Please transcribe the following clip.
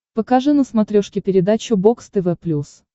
покажи на смотрешке передачу бокс тв плюс